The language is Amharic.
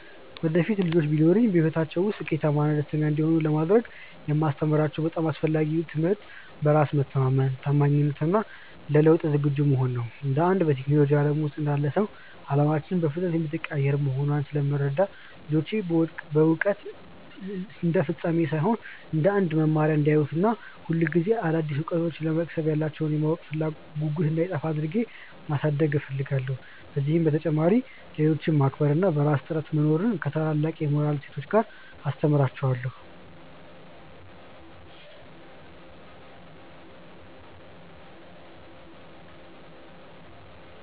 ወደፊት ልጆች ቢኖሩኝ፣ በሕይወታቸው ውስጥ ስኬታማና ደስተኛ እንዲሆኑ ለማድረግ የማስተምራቸው በጣም አስፈላጊው ትምህርት በራስ መተማመንን፣ ታማኝነትን እና ለለውጥ ዝግጁ መሆንን ነው። እንደ አንድ በቴክኖሎጂው ዓለም ውስጥ እንዳለ ሰው፣ ዓለማችን በፍጥነት የምትቀያየር መሆኗን ስለምረዳ፣ ልጆቼ ውድቀትን እንደ ፍጻሜ ሳይሆን እንደ አዲስ መማሪያ እንዲያዩት እና ሁልጊዜ አዳዲስ እውቀቶችን ለመቅሰም ያላቸው የማወቅ ጉጉት እንዳይጠፋ አድርጌ ማሳደግ እፈልጋለሁ። ከዚህ በተጨማሪ፣ ሌሎችን ማክበር እና በራስ ጥረት መኖርን ከታላቅ የሞራል እሴት ጋር አስተምራቸዋለሁ።